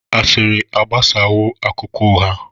Asịrị agbasawo akụkọ ụgha.